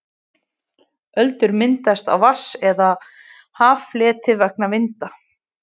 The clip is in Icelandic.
öldur myndast á vatns eða haffleti vegna vinda